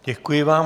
Děkuji vám.